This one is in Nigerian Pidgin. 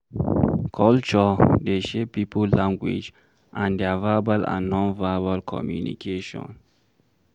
Culture dey shape pipo language and their verbal and non-verbal communication